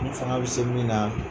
N fanga bɛ se min na